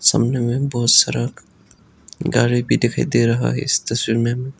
कमरे में बहुत सारा गाड़ी भी दिखाई दे रहा है इस तस्वीर में।